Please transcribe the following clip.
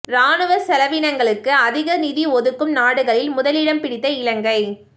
இராணுவச் செலவீனங்களுக்கு அதிக நிதி ஒதுக்கும் நாடுகளில் முதலிடம் பிடித்த இலங்கை